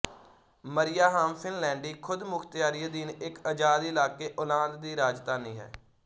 Mariehamn ਫ਼ਿਨਲੈਂਡੀ ਖ਼ੁਦਮੁਖ਼ਤਿਆਰੀ ਅਧੀਨ ਇੱਕ ਅਜ਼ਾਦ ਇਲਾਕੇ ਓਲਾਂਦ ਦੀ ਰਾਜਧਾਨੀ ਹੈ